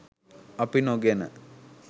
අපි නොගෙන